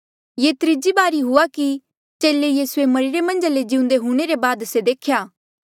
ये त्रीजी बारी हुआ कि चेले यीसूए मरिरे मन्झा ले जिउंदे हूंणे ले बाद से देख्या